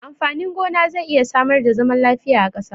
Amfanin gona zai iya samar da zaman lafiya a ƙasa.